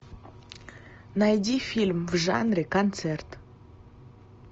найди фильм в жанре концерт